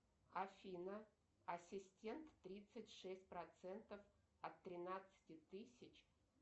афина ассистент тридцать шесть процентов от тринадцати тысяч